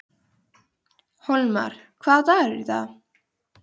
Hólmar, hvaða dagur er í dag?